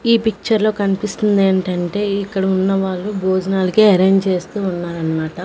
ఈ పిక్చర్ లో కన్పిస్తుందేంటంటే ఇక్కడ ఉన్న వాళ్ళు బోజనాలకే అరేంజ్ చేస్తూ ఉన్నారన్మాట--